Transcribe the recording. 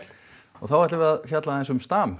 þá ætlum við að fjalla aðeins um stam